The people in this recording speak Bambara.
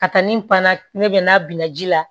Ka taa ni panna ne bɛ n'a bina ji la